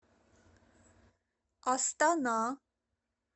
астана